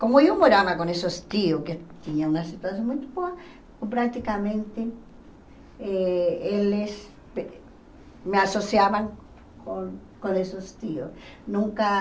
Como eu morava com esses tios, que tinham uma situação muito boa, praticamente, eh eles me associavam com com esses tios. Nunca